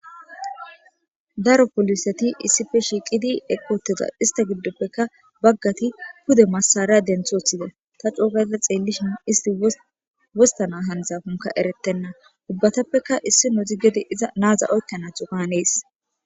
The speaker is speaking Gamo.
Daro pooliseti issippe shiiqidi uttida baggati istappeka pude massara denthi woththida ta coogaada xeellishin wostanaw hanizakko erettenna ubatapppeka iza naaza oykkan hanees.